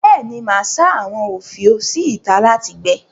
Bẹ́ẹ̀ ni, màá sá àwọn òfiò sí ìtà láti gbẹ.